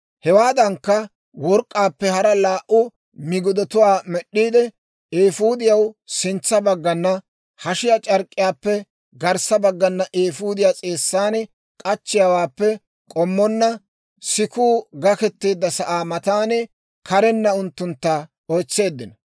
Hewaadankka, work'k'aappe hara laa"u migidatuwaa med'd'iide, eefuudiyaw sintsa baggana, hashiyaa c'ark'k'iyaappe garssa baggana eefuudiyaa s'eessan k'achchiyaawaappe k'ommonna, sikuu gaketeedda sa'aa matan karenna unttuntta oytseeddino.